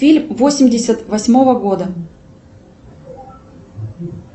фильм восемьдесят восьмого года